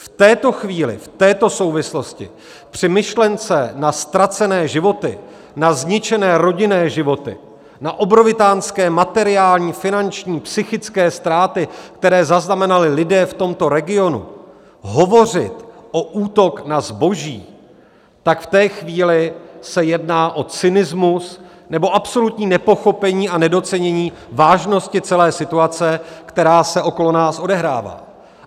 V této chvíli, v této souvislosti, při myšlence na ztracené životy, na zničené rodinné životy, na obrovitánské materiální, finanční, psychické ztráty, které zaznamenali lidé v tomto regionu, hovořit o útok na zboží, tak v té chvíli se jedná o cynismus nebo absolutní nepochopení a nedocenění vážnosti celé situace, která se okolo nás odehrává.